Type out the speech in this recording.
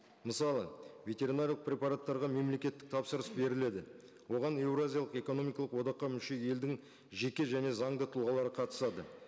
мысалы ветеринарлық препараттарға мемлекеттік тапсырыс беріледі оған еуразиялық экономикалық одаққа мүше елдің жеке және заңды тұлғалары қатысады